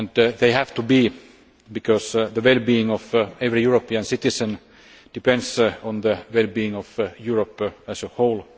They have to be, because the well being of every European citizen depends on the well being of Europe as a whole.